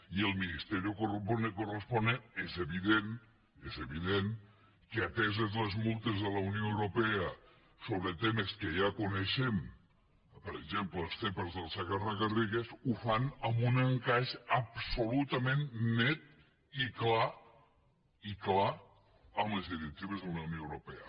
i el ministeriodent que ateses les multes de la unió europea sobre temes que ja coneixem per exemples les zepa del segarra garrigues ho fan amb un encaix absolutament net i clar i clar amb les directives de la unió europea